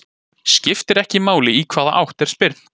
Skiptir ekki máli í hvaða átt er spyrnt.